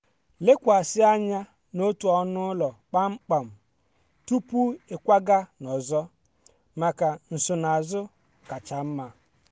lekwasị anya n'otu ọnụ ụlọ kpamkpam tupu ịkwaga n'ọzọ maka nsonaazụ kacha mma.